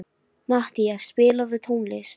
Matthea, spilaðu tónlist.